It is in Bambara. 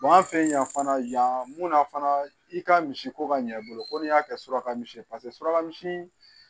an fɛ yan fana yan mun na fana i ka misi ko ka ɲɛ i bolo ko ni y'a kɛ suraka misi ye paseke suraka misi